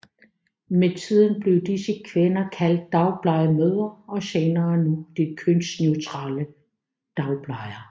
Med tiden blev disse kvinder kaldt dagplejemødre og senere nu det kønsneutrale dagplejer